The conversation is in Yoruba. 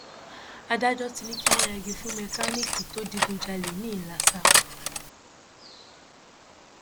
adájọ ti ní kí wọn yẹgi fún mẹkáníìkì tó digunjalè ńìlasa